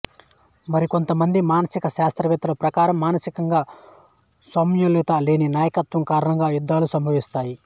మరికొంత మంది మానసిక శాస్త్రవేత్తల ప్రకారం మానసికంగా సమతుల్యత లేని నాయకత్వం కారణంగా యుద్ధాలు సంభవిస్తాయి